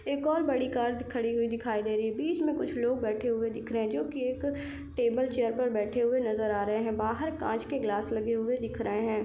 एक और बड़ी कार खड़ी हुई दिखाई दे रही है बीच में कुछ लोग बैठे हुए दिख रहे है जो कि एक टेबल चेयर पर बैठे हुए नज़र आ रहे है बाहर कांच के ग्लास लगे हुए दिख रहे है।